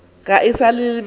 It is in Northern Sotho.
ge e sa le ba